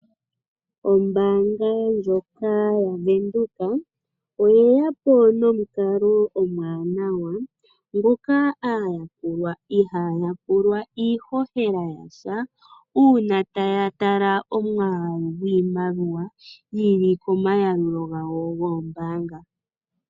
Ombaanga ndjoka yaVenduka oye ya po nomukalo omuwanawa ngoka aayakulwa ihaya pulwa iihohela yasha uuna taya tala omwaalu gwiimaliwa yi li komayalulo gawo goombaanga.